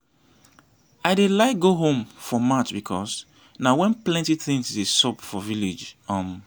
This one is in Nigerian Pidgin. i dey like go home for march because na when plenty things dey sup for village um